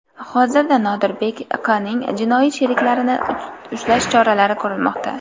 Hozirda Nodirbek Q.ning jinoiy sheriklarini ushlash choralari ko‘rilmoqda.